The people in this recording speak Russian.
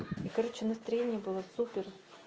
короче настроение было супер